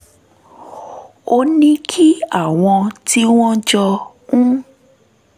ó ní kí àwọn tí wọ́n jọ ń